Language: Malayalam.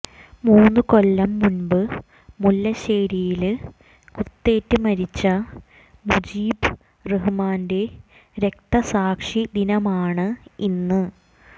മൂന്ന് കൊല്ലം മുമ്പ് മുല്ലശ്ശേരിയില് കുത്തേറ്റ് മരിച്ച മുജീബ് റഹ്മാന്റെ രക്തസാക്ഷിദിനമാണ് ഇന്ന്